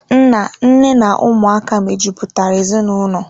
Nna, Nne na Ụmụaka mejupụta ezinaụlọ.